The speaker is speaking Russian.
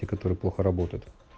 те которые плохо работают